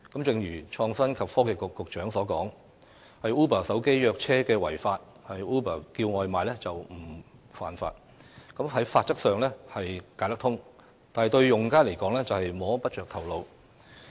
正如創新及科技局局長所說 ，Uber 手機約車違法，而 Uber 叫外賣則不屬犯法，法規上解得通，但對用家來說卻摸不着頭腦。